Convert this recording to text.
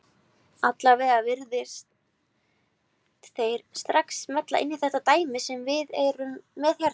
Allavega virðast þeir strax smella inn í þetta dæmi sem við erum með hérna.